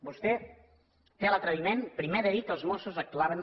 vostè té l’atreviment primer de dir que els mossos actuaven